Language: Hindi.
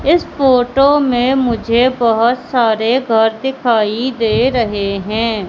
इस फोटो में मुझे बहोत सारे घर दिखाई दे रहे हैं।